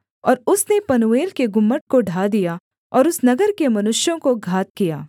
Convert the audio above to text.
और उसने पनूएल के गुम्मट को ढा दिया और उस नगर के मनुष्यों को घात किया